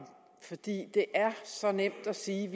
fordi det er så nemt at sige at